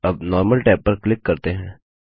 अब normal tab पर click करते हैं